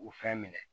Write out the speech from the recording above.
O fɛn minɛ